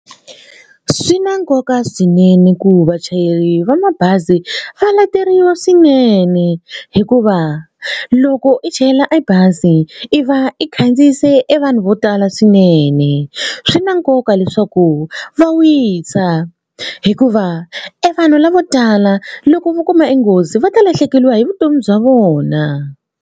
Swi na nkoka swinene ku vachayeri va mabazi va leteriwa swinene hikuva loko i chayela e bazi i va i khandziyise i vanhu vo tala swinene. Swi na nkoka leswaku va wisa hikuva e vanhu lavo tala loko vo kuma e nghozi va ta lahlekeriwa hi vutomi bya vona.